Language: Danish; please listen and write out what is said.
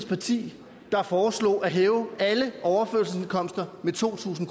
parti der foreslog at hæve alle overførselsindkomster med to tusind